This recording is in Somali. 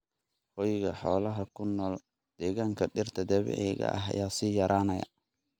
Hoyga xoolaha ku nool deegaanka dhirta dabiiciga ah ayaa sii yaraanaya.